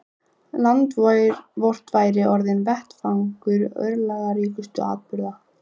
Land vort væri orðinn vettvangur örlagaríkustu atburða.